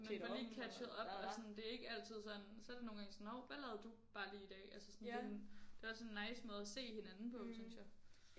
Man får lige catchet op og sådan det er ikke altid sådan så er det nogle gange sådan hov hvad lavede du bare lige i dag altså sådan det en det er også en nice måde at se hinanden på synes jeg